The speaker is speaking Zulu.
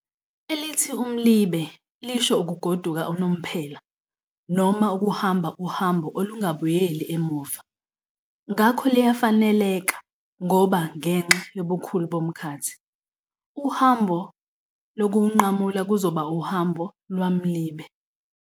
Elithi umlibe lisho ukugoduka unomphela noma ukuhamba uhambo olungabuyeli emuva', ngakho liyafaneleka ngoba ngenxa yobukhulu bomkhathi, uhambo lokuwunqamula kuzoba uhambo lwamlibe.